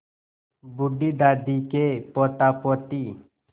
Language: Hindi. बूढ़ी दादी के पोतापोती